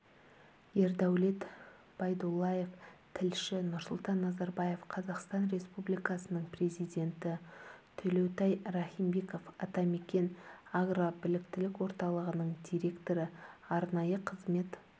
ердәулет байдуллаев тілші нұрсұлтан назарбаев қазақстан республикасының президенті төлеутай рахимбеков атамекен агробіліктілік орталығының директоры арнайы қызмет